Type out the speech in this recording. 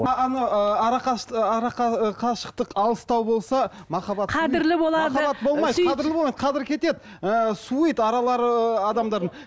қашықтық алыстау болса қадір кетеді суиды аралары ыыы адамдардың